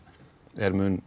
er mun